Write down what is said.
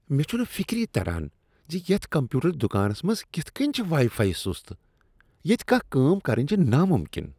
مے٘ چھُنہٕ فِكری تران زِ یتھ کمپیوٗٹر دکانس منٛز كِتھہٕ کِنۍ چھ وایی فایی سُست ۔ ییٚتہ کانٛہہ کٲم کرٕنۍ چھےٚ ناممکن۔